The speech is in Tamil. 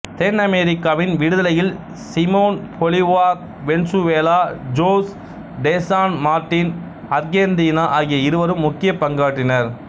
தென்னமெரிக்காவின் விடுதலையில் Simon Bolivar Venezuela Jose de San Martin Argentina ஆகிய இருவரும் முக்கியப் பங்காற்றினர்